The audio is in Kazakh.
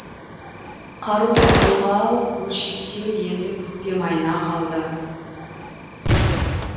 қаруды қолға алып бөлшектеу енді көктем айына қалды